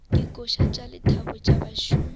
dikoša tša lethabo tša bašomi